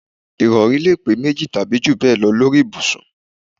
Ìrọ̀rí lè pé méjì tàbí jù bẹ́ẹ̀ lọ lórí ibùsùn